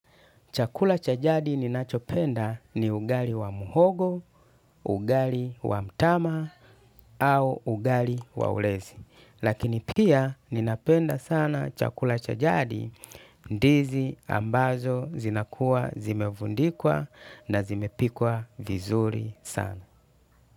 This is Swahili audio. Chakula cha jadi ninachopenda ni ugali wa mhogo, ugali wa mtama, au ugali wa ulezi. Lakini pia ninapenda sana chakula cha jadi, ndizi ambazo zinakua zimevundikwa na zimepikwa vizuri sana.